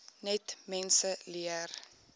net mense leer